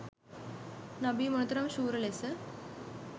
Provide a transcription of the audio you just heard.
නබී මොනතරම් ශූර ලෙස